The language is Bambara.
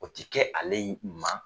O te kɛ ale in ma